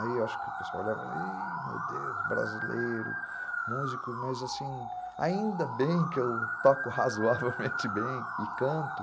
Aí eu acho que o pessoal olhava, meu Deus, brasileiro, músico, mas assim, ainda bem que eu toco razoavelmente bem e canto,